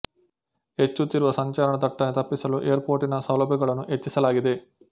ಹೆಚ್ಚುತ್ತಿರುವ ಸಂಚಾರ ದಟ್ಟಣೆ ತಪ್ಪಿಸಲು ಏರ್ ಪೊರ್ಟ್ ನ ಸೌಲಭ್ಯಗಳನ್ನು ಹೆಚ್ಚಿಸಲಾಗಿದೆ